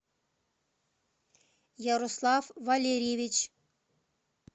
ярослав валерьевич